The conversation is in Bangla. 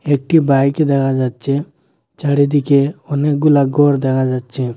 একটি বাইক দেহা যাচ্চে চারিদিকে অনেকগুলা গর দেহা যাচ্ছে।